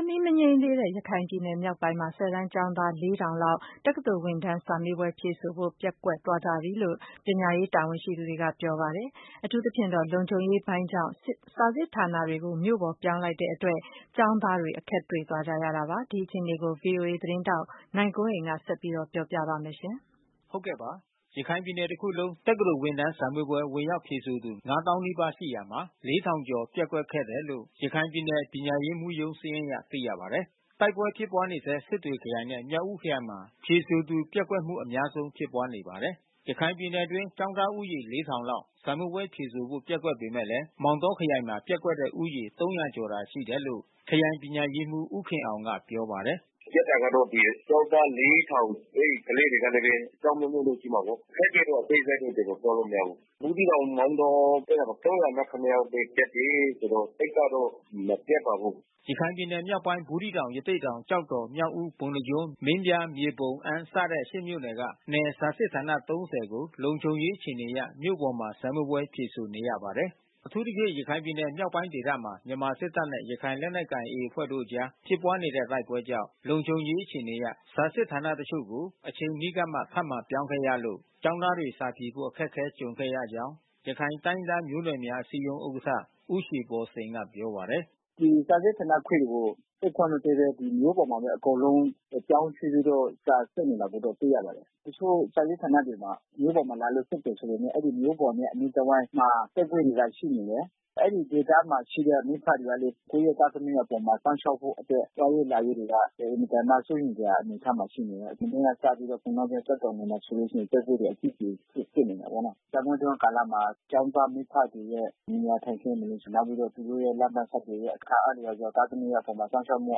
စ်မီးမငြိမ်းသေးတဲ့ ရခိုင်ပြည်နယ်မြောက်ပိုင်းက ၁၀ တန်းကျောင်းသား ၄,၀၀၀ လောက် တက္ကသိုလ်ဝင်တန်းစာမေးပွဲ ဖြေဆိုဖို့ ပျက်ကွက်သွားကြပြီလို့ ပညာရေး တာဝန်ရှိသူတွေက ပြောပါတယ်။ အထူးသဖြင့်တော့ လုံခြုံရေးပိုင်းကြောင့် စာစစ်ဌာနတွေကို မြို့ပေါ် ပြောင်းလို့်တဲ့အတွက် ကျောင်းသားတွေ အခက်တွေ့သွားကြရတာပါ။ ဒီအခြေအနေကို ဗွီအိုအေသတင်းထောက် နိုင်ကွန်းအိန်က ဆက်ပြောပြပါမယ်။ ရခိုင်ပြည်နယ် တခုလုံး တက္ကသိုလ်ဝင်တန်း ဝင်ရောက်ဖြေဆိုသူ ၅၀,၀၀၀ နီးပါးရှိရာမှာ ၄,၀၀၀ ကျော်ပျက်ကွက်ခဲ့တယ်လို့ ရခိုင်ပြည်နယ် ပညာရေးမှူးရုံးစာရင်းအရ သိရပါတယ်။ တိုက်ပွဲဖြစ်ပွားနေဆဲ စစ်တွေခရိုင်နဲ့ မြောက်ဦးခရိုင်မှာ ဖြေဆိုသူ ပျက်ကွက်မှု အများဆုံးဖြစ်ပွားနေပါတယ်။ ရခိုင်ပြည်နယ်အတွင်း ကျောင်းသားဦးရေ ၄,၀၀၀ လောက် စာမေးပွဲဖြေဆိုဖို့ ပျက်ကွက်ပေမဲ့ မောင်တောခရိုင်မှာ ပျက်ကွက်တဲ့ဦးရေ ၃၀၀ ကျော်သာ ရှိတယ်လို့ ခရိုင်ပညာရေးမှူး ဦးခင်အောင်က ပြောပါတယ်။ “ပျက်ကွက်တာကတော့ ကျောင်းသား ၄,၀၀၀ ။ အဲဒီကလေးတွေကလည်း အကြောင်းအမျိုးမျိုးတော့ရှိမှာပေါ့။ အခက်ခဲတော့အသေးစိတ်တော့ ကျနော်ပြောလို့ မရဘူး။ ဘူးသီးတောင်မောင်တောဘက်မှာတော့၃၀၇ ပဲ ပျက်တယ်ဆိုတော့ သိပ်ကတော့ မပျက်ပါဘူး။” ရခိုင်ပြည်နယ်မြောက်ပိုင်း ဘူးသီးတောင် ရသေ့တောင်၊ ကျောက်တော်၊ မြောက်ဦး၊ ပုဏ္ဏားကျွန်း၊ မင်းပြား၊ မြေပုံ၊ အမ်း စတဲ့ ၈ မြို့နယ်က နယ်စာစစ်ဌာန ၃၀ ကို လုံခြုံရေးအခြေအနေအရ မြို့ပေါ်မှာ စာမေးပွဲဖြေဆိုနေရပါတယ်။ အထူးသဖြင့်ရခိုင်ပြည်နယ်မြောက်ပိုင်းဒေသမှာ မြန်မာစစ်တပ်နဲ့ ရခိုင်လက်နက်ကိုင် AA အဖွဲ့တို့အကြား ဖြစ်ပွားနေတဲ့ တိုက်ပွဲကြောင့် လုံခြုံရေး အခြေအနေအရ စာစစ်ဌာနအချို့ကို အချိန်အနီးကပ်မှ ထပ်မံပြောင်းခဲ့ရလို့ ကျောင်းသားတွေ စာဖြေဖို့ အခက်အခဲတွေကြုံခဲ့ရကြောင်း ရခိုင်တိုင်းရင်းသားမျိုးနွယ်များ အစည်းအရုံး ဥက္ကဋ္ဌ ဦးရွှေဘော်စိန် ပြောပါတယ်။ “ဒီစာစစ်ဌာနခွဲတွေကို ဖွင့်ခွင့်မပေးဘဲ မြို့ပေါ်မှာပဲ အကုန်လုံး ပြောင်းရွှေ့ပြီးတော့ စာစစ်နေတာကို တွေ့ရပါတယ်။ တချို့စာစစ်ဌာနတွေမှာ မြို့ပေါ်မှာလာလို့စစ်နေတယ်ဆိုပေမဲ့ အဲဒီမြို့ပေါ်နဲ့အနီးတဝှိက်မှာ တိုက်ပွဲတွေက ရှိနေတယ်။ အဲဒီဒေသမှာရှိတဲ့ မိဖတွေကလည်း ကိုယ့်ရဲ့သားသမီးအပေါ်မှာ စောင့်ရှောက်ဖို့အတွက် သွားရေးလာရေးတွေက အင်မတန်မှ စိုးရိမ်စရာအနေအထားမှာ ရှိနေတယ်။ မနေ့ကစပြီးတော့ ပုဏ္ဏားကျွန်း၊ ကျောက်တော်မြို့နယ်မှာဆိုလို့ ရှိရင် တိုက်ပွဲတွေအကြီးအကျယ် ဖြစ်နေတာပေါ့နော်။ တိုက်ပွဲအတွင်းကာလမှာ ကျောင်းသားမိဖတွေရဲ့ နေရာထိုင်ခင်းတွေ နောက်ပြီးတော့ လမ်းပမ်းဆက်သွယ်ရေး အခါအားလျှော်စွာ သားသမီးအပေါ် စောင့်ရှောက်မှု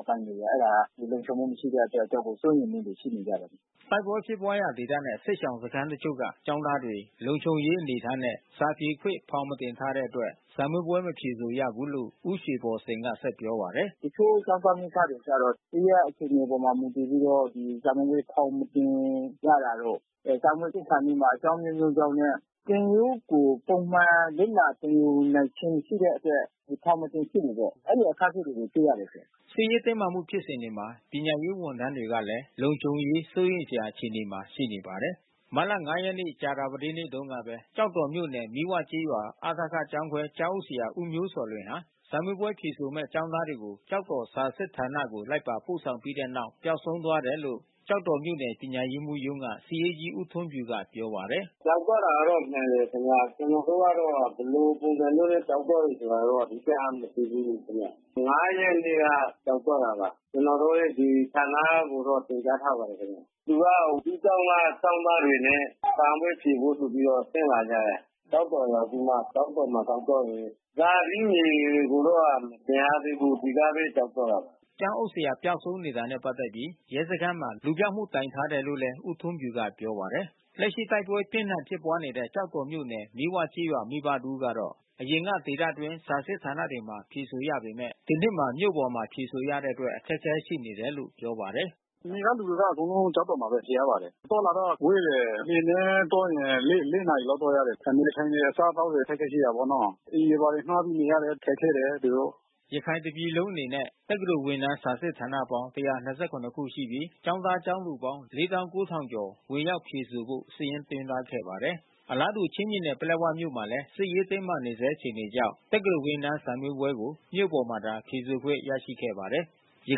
အပိုင်းတွေရယ်။ အဲတာလုံခြုံမှု မရှိတဲ့အတွက် တော်တော့ကို စိုးရိမ်မှုတွေရှိနေကြတယ်။” တိုက်ပွဲဖြစ်ပွားရာဒေသနဲ့ စစ်ရှောင်စခမ်းတချို့က ကျောင်းသားတွေ လုံခြုံရေးအနေအထားနဲ့ စာဖြေခွင့်ဖောင် မတင်ထားတဲ့အတွက် စာမေးပွဲ မဖြေဆိုရဘူးလို့ ဦးရွှေဘော်စိန်က ဆက်ပြောပါတယ်။ “တချို့ကျောင်းသား မိဘတွေကျတော့ သူတို့ရဲ့အခြေအနေအပေါ် မူတည်ပြီးတော့ စာမေးပွဲဖောင် မတင်ရတာတို့ စာမေးပွဲစစ်ခါနီးမှာ အကြောင်းအမျိုးမျိုးကြောင့်နဲ့ သင်ရိုးကို ပုံမှန်လေ့လာသင်ယူနိုင်ခြင်း မရှိတဲ့အတွက် ဖောင်မတင်ဖြစ်ဘူးပေါ့။ အဲဒီလိုအခက်ခဲတွေ တွေ့ရတယ်။” စစ်ရေးတင်းမာမှုဖြစ်စဉ်တွေမှာ ပညာရေးဝန်ထမ်းတွေအတွက်ကလည်း လုံခြုံရေးစိုးရိမ်စရာ အခြေအနေမှာ ရှိနေပါတယ်။ မတ်လ ၅ ရက် ကြာသပတေးနေ့တုန်းကပဲ ကျောက်တော်မြို့နယ် မီးဝကျေးရွာ အ.ထ.က ကျောင်းခွဲကျောင်းအုပ်ဆရာ ဦးမျိုးဇော်လွင်ဟာ စာမေးပွဲဖြေဆိုမယ့် ကျောင်းသားတွေကို ကျောက် တော်စာစစ်ဌာနကို လိုက်ပါပို့ဆောင်ပြီးတဲ့နောက် ပျောက်ဆုံးသွားတယ်လို့ ကျောက်တော်မြို့နယ် ပညာရေးမှူးရုံးက စာရေးကြီးဦးထွန်းဖြူက ပြောပါတယ်။ “ပျောက်သွားတာကတော့ မှန်တယ်ခင်ဗျ။ ကျနော်တို့ကတော့ ဘယ်လိုပုံစံမျိုးနဲ့ ပျောက်သွားတယ်ဆိုတာတော့ တပ်အပ်မသိဘူးခင်ဗျ။၅ ရက်နေ့ကပျောက်သွားတာပါ။ ကျနော်တို့ရဲ့ဌာနကို တင်ပြထားပါတယ်ခင်ဗျ။ သူက သူ့ကျောင်းကကျောင်းသားတွေနဲ့ စာမေးပွဲဖြေဖို့ဆိုပြီးတော့ ဆင်းလာကြတယ်။ ကျောက်တော်ရောက်ပြီးမှ ကျောက်တော်မှာ ပျောက်သွားတယ်။ ဇာတိမြေကိုတော့ မပြန်ရသေးဘူး ဒီကပဲ ပျောက်သွားတယ်။” ကျောင်းအုပ်ဆရာ ပျောက်ဆုံးနေတာနဲ့ပတ်သက်ပြီး ရဲစခန်းမှာ လူပျောက်တိုင်ထားတယ်လို့လည်း ဦးထွန်းဖြူက ပြောပါတယ်။ လက်ရှိတိုက်ပွဲ ပြင်းထန်ဖြစ်ပွားနေတဲ့ကျောက်တော်မြို့နယ် မီးဝကျေးရွာ မိဘတဦးကတော့ အရင်က ဒေသအတွင်း စာစစ် ဌာနတွေမှာ ဖြေဆိုရပေမဲ့ ဒီနှစ်မှာမြို့ပေါ်ဖြေဆိုရတဲ့အတွက် အခက်ခဲရှိနေတယ်လို့ပြောပါတယ်။ “နယ်ကလူတွေက အကုန်လုံး ကျောက်တော်မှာပဲ ဖြေရပါတယ်။ အသွားအလာတော့ ဝေးတယ်။ လှေနဲ့သွားရင် ၄ နာရီ လောက် သွားရတယ်။ အနေအထိုင်တွေ အစားအသောက်တွေ အခက်ခဲရှိတာပေါ့နော်။ အိမ်တွေဘာတွေငှါးပြီး နေရတယ်။ ခက်ခဲတယ် သူတို့။” ရခိုင်တပြည်လုံးအနေနဲ့ တက္ကသိုလ်ဝင်တန်း စာစစ်ဌာနပေါင်း ၁၂၇ ခု ရှိပြီး ကျောင်းသား ကျောင်းသူပေါင်း ၄၉,၀၀၀ ကျော် ဝင်ရောက်ဖြေဆိုဖို့ စာရင်းသွင်းထားခဲ့ပါတယ်။ အလားတူ ချင်းပြည်နယ် ပလက်ဝမြို့နယ်မှာလည်း စစ်ရေးတင်းမာနေဆဲ အခြေအနေကြောင့် တက္ကသိုလ်ဝင်တန်း စာမေးပွဲကို မြို့ပေါ်မှာသာ ဖြေဆိုခွင့်ရရှိခဲ့ပါတယ်။ ရ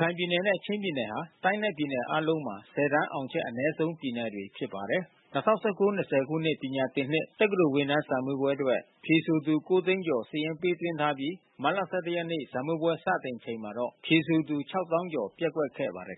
ခိုင်ပြည်နယ်နဲ့ချင်းပြည်နယ်ဟာ တိုင်းနဲ့ပြည်နယ်အားလုံးထဲမှာ ၁၀ တန်းအောင်ချက် အနည်းဆုံးပြည်နယ်တွေဖြစ်ပါတယ်။ ၂၀၁၉-၂၀၂၀ ပညာသင်နှစ် တက္ကသိုလ်ဝင်တန်း စာမေးပွဲအတွက် ဖြေဆိုသူ ၉ သိန်းကျော် စာရင်းပေးသွင်းထားပြီး မတ်လ ၁၁ ရက်နေ့ စာမေးပွဲ စတင်ချိန်မှာတော့ ဖြေဆိုသူ ၆၀,၀၀၀ ကျော် ပျက်ကွက်ခဲ့ပါတယ်